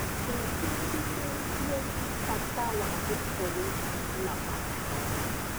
Ndĩbundithĩtie bata wa gũkorwo na matanya.